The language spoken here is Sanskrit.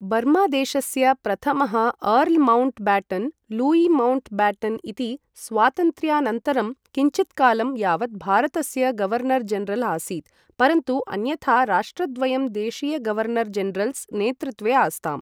बर्मादेशस्य प्रथमः earl Mountbatten, Louis Mountbatten इति, स्वातन्त्र्यानन्तरं किञ्चित्कालं यावत् भारतस्य गवर्नर् जनरल् आसीत्, परन्तु अन्यथा राष्ट्रद्वयं देशीय गवर्नर् जनरल्स् नेतृत्वे आस्ताम्।